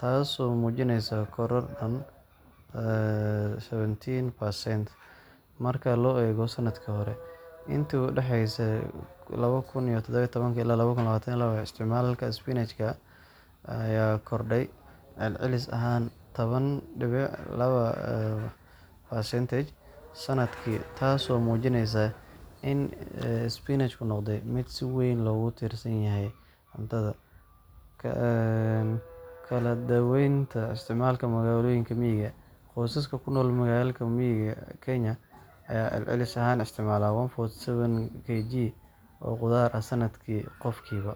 taasoo muujinaysa koror dhan 17% marka loo eego sanadkii hore. Intii u dhaxaysay 2017 ilaa 2022, isticmaalka isbinaajka ayaa kordhay celcelis ahaan 10.2% sanadkii, taasoo muujinaysa in isbinaajku noqday mid si weyn loogu tiirsan yahay cuntada qoysaska Kenya. Kala Duwanaanta Isticmaalka Magaalooyinka iyo Miyiga Qoysaska ku nool magaalooyinka Kenya ayaa celcelis ahaan isticmaala 147 kg oo khudaar ah sanadkii qofkiiba,